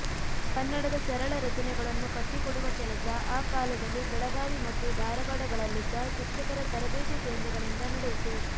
ಕನ್ನಡದ ಸರಳ ರಚನೆಗಳನ್ನು ಕಟ್ಟಿಕೊಡುವ ಕೆಲಸ ಆ ಕಾಲದಲ್ಲಿ ಬೆಳಗಾವಿ ಮತ್ತು ಧಾರವಾಡಗಳಲ್ಲಿದ್ದ ಶಿಕ್ಷಕರ ತರಬೇತಿ ಕೇಂದ್ರಗಳಿಂದ ನಡೆಯಿತು